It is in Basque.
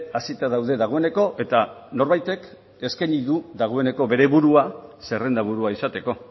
hasita daude dagoeneko eta norbaitek eskaini du dagoeneko bere burua zerrenda burua izateko